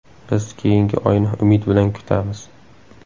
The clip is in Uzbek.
Biz keyingi oyni umid bilan kutamiz.